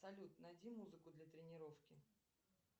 салют найди музыку для тренировки